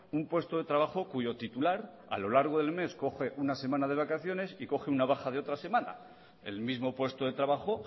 un puesto de trabajo cuyo titular a lo largo del mes coge una semana de vacaciones y coge una baja de otra semana el mismo puesto de trabajo